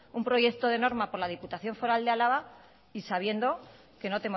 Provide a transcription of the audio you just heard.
un proyecto de norma por la diputación foral de álava y sabiendo que no